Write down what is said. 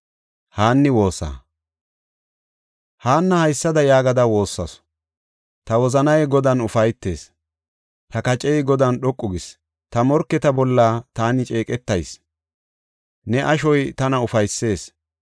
Haanna haysada yaagada woossasu; “Ta wozanay Godan ufaytees; ta kacey Godan dhoqu gis. Ta morketa bolla taani ceeqetayis; ne ashoy tana ufaysees.